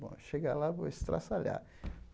Bom, chegar lá, vou estraçalhar.